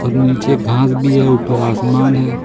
नीचे घास भी है ऊपर आसमान है।